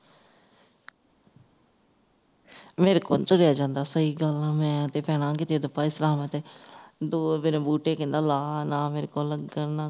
ਮੇਰੇ ਕੋਲੋਂ ਨਹੀਂ ਤੁਰਿਆ ਜਾਂਦਾ ਸਹੀ ਗੱਲ ਆ ਮੈਂ ਤੇ ਭੈਣਾਂ ਕਿੱਥੇ ਪਏ ਤੇ ਜਾਵਾਂ ਤੇ ਦੋ ਮੇਰੇ ਬੂਟੇ ਕਹਿੰਦਾ ਲਾਹ ਨਾ ਮੇਰੇ ਕੋਲੋਂ ਲੱਗਣ ਨਾ ਕੋ